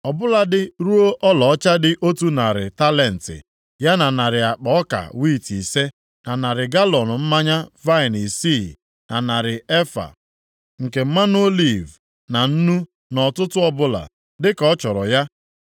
Ọ bụladị ruo ọlaọcha dị otu narị talenti, ya na narị akpa ọka wiiti ise, na narị galọọnụ mmanya vaịnị isii, na narị efa + 7:22 Nke a bụ narị galọọnụ isii nke mmanụ oliv na nnu nʼọtụtụ ọbụla, dịka ọ chọrọ ya.